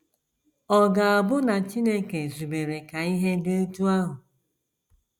Ọ̀ ga - abụ na Chineke zubere ka ihe dị otú ahụ?